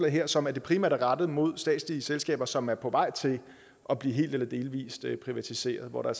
her som primært rettet mod statslige selskaber som er på vej til at blive helt eller delvis privatiseret og hvor der